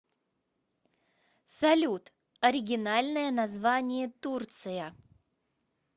салют оригинальное название турция